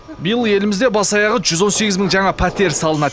биыл елімізде бас аяғы жүз он сегіз мың жаңа пәтер салынады